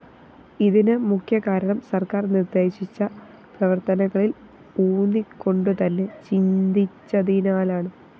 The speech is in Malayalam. ഇതിന് മുഖ്യകാരണം സര്‍ക്കാര്‍ നിര്‍ദ്ദേശിച്ച പ്രവര്‍ത്തനങ്ങളില്‍ ഊന്നിക്കൊണ്ടുതന്നെ ചിന്തിച്ചതിനാലാണ്